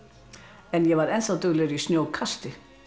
en ég var duglegri í snjókasti